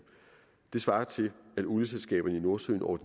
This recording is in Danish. det svarer til at olieselskaberne i nordsøen over